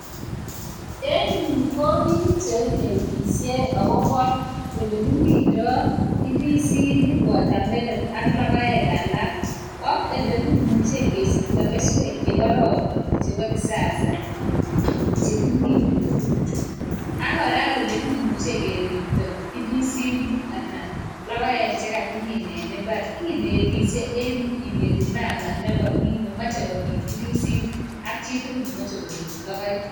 en yu ko biik cheinetisie akobo ole kimindoi ndisinik, [s]watermelon[ca] ak logoek alak ak ole kimuche kesikto keswek chekororon chebo kisasa chekimine tuguchu ak kora ole kimuche keripto ndisinik anan logoek chekakimine mbar. kinetisie en yu kineti mama nemache komin ndisinik ak chitugul nemache komin logoek